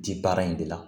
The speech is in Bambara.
Di baara in de la